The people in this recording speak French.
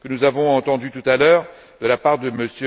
Nous avons entendu tout à l'heure